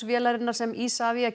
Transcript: vélarinnar sem Isavia